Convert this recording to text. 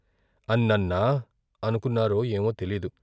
అన్నన్నా అనుకున్నారో ఏమో తెలియదు.